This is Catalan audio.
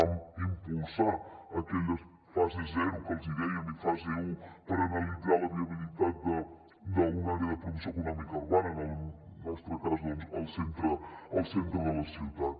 vam impulsar aquelles fase zero que en dèiem i fase un per analitzar la viabilitat d’una àrea de promoció econòmica urbana en el nostre cas al centre de la ciutat